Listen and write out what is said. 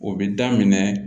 O bɛ daminɛ